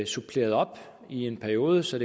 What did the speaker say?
suppleret op i en periode så